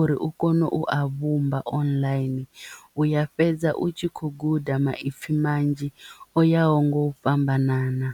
uri u kone u a vhumba online u ya fhedza u tshi kho guda maipfi manzhi o yaho nga u fhambanana.